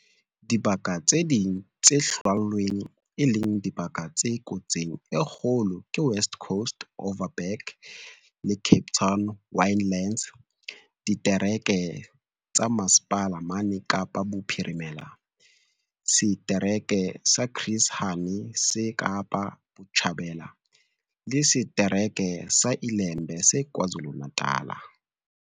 Dibaka tse ding tse hlwailweng e le dibaka tse kotsing e kgolo ke West Coast, Overberg le Cape Winelands ditereke tsa Mmasepala mane Kapa Bophirimela, setereke sa Chris Hani se Kapa Botjhabela, le se-tereke sa iLembe se KwaZulu-Natala.